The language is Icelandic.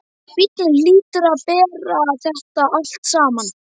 Æ, bíllinn hlýtur að bera þetta allt saman.